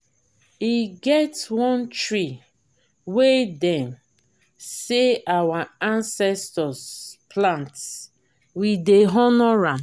e get one tree wey dem sey our ancestors plant we dey honour am.